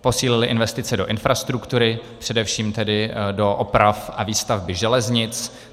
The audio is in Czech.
posílily investice do infrastruktury, především tedy do oprav a výstavby železnic.